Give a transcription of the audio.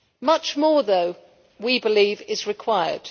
Much more though, we believe, is required.